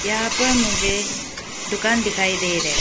यहां पर मुझे दुकान दिखाई दे रहे।